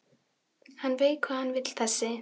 Hann veit hvað hann vill þessi!